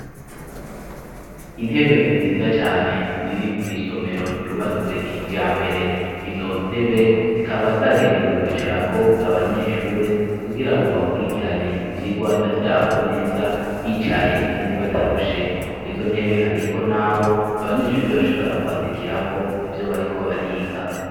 Intebe nziza cane ziri mu isomero ryubatswe kijya mbere izo ntebe zikaba zagenewe kwicara ko abanyeshuri kugira ngo bakurikirane ivyigwa vyabo neza bicaye kandi batarushe ku izo ntebe hariko n'aho abanyeshuri bashobora kwandikira ko ivyo bariko bariga.